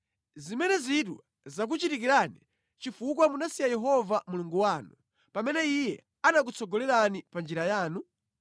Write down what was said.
Zimenezitu zakuchitikirani chifukwa munasiya Yehova Mulungu wanu pamene Iye ankakutsogolerani pa njira yanu?